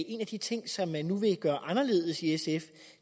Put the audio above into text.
en af de ting som man nu vil gøre anderledes i sf